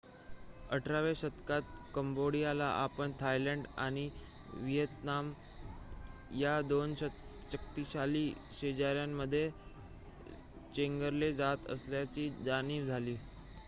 १८व्या शतकात कंबोडियाला आपण थायलंड आणि व्हिएतनाम या दोन शक्तिशाली शेजाऱ्यांमध्ये चेंगरले जात असल्याची जाणीव झाली